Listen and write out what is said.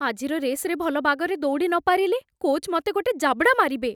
ଆଜିର ରେସ୍‌ରେ ଭଲ ବାଗରେ ଦୌଡ଼ି ନପାରିଲେ, କୋଚ୍ ମତେ ଗୋଟେ ଜାବଡ଼ା ମାରିବେ ।